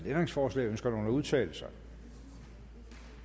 ændringsforslag ønsker nogen at udtale sig